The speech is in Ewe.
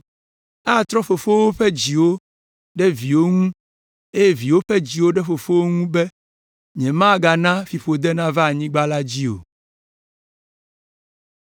Atrɔ fofowo ƒe dziwo ɖe wo viwo ŋu eye viwo ƒe dziwo ɖe fofowo ŋu be nyemana fiƒode nava anyigba la dzi o.”